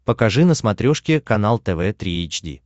покажи на смотрешке канал тв три эйч ди